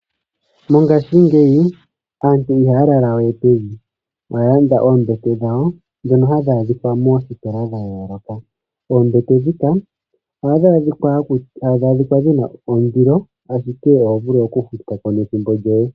Mongashingeyi aantu ihaya lala we pevi. Ohaya landa oombete dhawo dhoka hadhi adikwa moostola dha yooloka. Oombete ohadhi adhika dhina oondilo ashike oho vulu oku futako nethimbo lyoe.